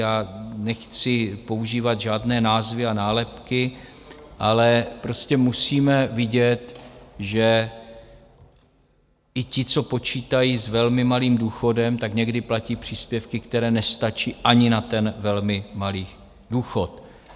Já nechci používat žádné názvy a nálepky, ale prostě musíme vidět, že i ti, co počítají s velmi malým důchodem, tak někdy platí příspěvky, které nestačí ani na ten velmi malý důchod.